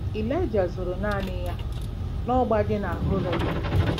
Ịlaịja zoro naanị ya n'ọgba dị na Horeb.